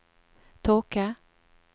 tåke